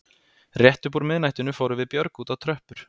Rétt upp úr miðnættinu fórum við Björg út á tröppur